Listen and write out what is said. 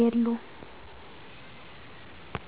የሉም